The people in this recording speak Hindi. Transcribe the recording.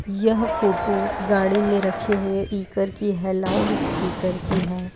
यह फोटो गाड़ी में रखे हुए पीकर की है लाउडस्पीकर की है।